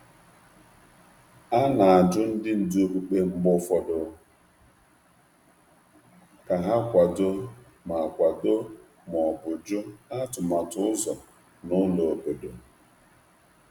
A um na-agwakarị um ndị ndú okpukperechi ka ha kwado ma ọ bụ megide atụmatụ akụrụngwa ógbè.